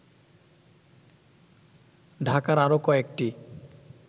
ঢাকার আরো কয়েকটি